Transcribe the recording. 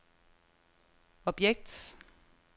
objekt